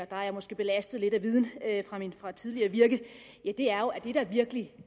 der er jeg måske belastet lidt af viden fra tidligere virke virkelig